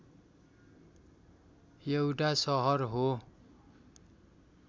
एउटा सहर हो।